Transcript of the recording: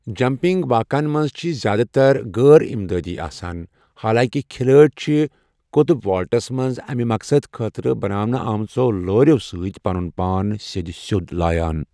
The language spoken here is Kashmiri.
جمپنگ واقعن منٛز چھِ زیادٕ تر غٲر امدٲدِی آسان، حالانکہ کھلٲڑۍ چھِ قطب والٹَس منٛز امہِ مقصد خٲطرٕ بناونہٕ آمژو لورٮ۪و سۭتۍ پنُن پان سیٛدِ سیٛود لایان۔